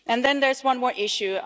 And then there's one more issue.